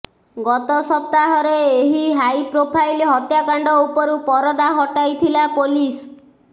ଗତ ସପ୍ତାହରେ ଏହି ହାଇପ୍ରୋଫାଇଲ୍ ହତ୍ୟାକାଣ୍ଡ ଉପରୁ ପରଦା ହଟାଇଥିଲା ପୋଲିସ